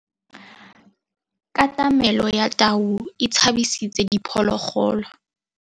Katamêlô ya tau e tshabisitse diphôlôgôlô.